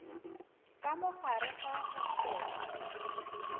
ka mo gare ga hostele